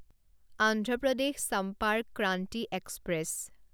Andhra Pradesh Sampark Kranti express